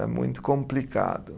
Era muito complicado.